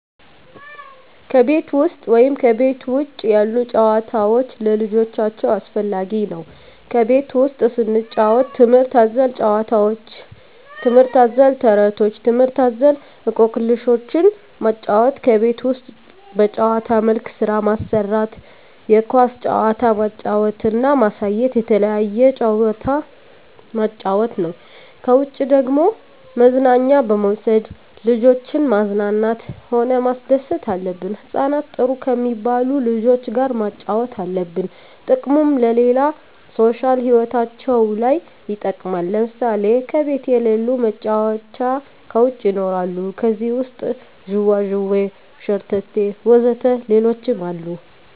ከቤት ውሰጥ ወይም ከቤት ውጭ ያሉ ጭዋታዎች ለልጆቻቸው አስፈላጊ ነው ከቤት ውስጥ ስንጫወት ትምህርት አዘል ጫውውቶች ትምህርት አዘል ተረቶች ትምህርት አዘል እኮክልሾችን ማጫወት ከቤት ውስጥ በጭዋታ መልክ ስራ ማሰራት የኳስ ጭዋታ ማጫወት እና ማሳየት የተለያየ ጭዋታ ማጫወት ነው ከውጭ ደግሞ መዝናኛ በመውሰድ ልጆችን ማዝናናት ሆነ ማስደሰት አለብን ህጻናትን ጥሩ ከሜባሉ ልጆች ጋር ማጫወት አለብን ጥቅሙም ለሌላ ሦሻል ህይወታቸው ለይ ይጠቅማል ለምሳሌ ከቤት የለሉ መጫወቻ ከውጭ ይኖራሉ ከዜህ ውሰጥ ጅዋጅዌ ሸረተቴ ወዘተ ሌሎችም አሉ